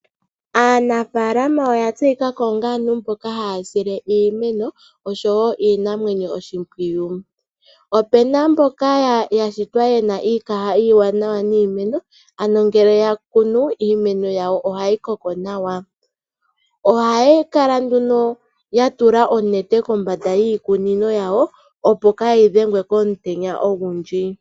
Aanafaalama oya tseyikako onga aantu mboka haya sile iimeno oshowo iinamwenyo oshimpwiyu. Opena mboka yashitwa yena iikaha iiwanawa niimeno ano ngele yakunu iimeno yawo ohayi koko nawa . Ohaya kala nduno yatula onete kombanda yiikunino yawo opo kayi dhengwe komutenya ogundji .